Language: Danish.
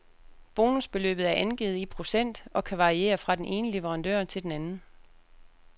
Bonusbeløbet er angivet i procent og kan variere fra den ene leverandør til anden.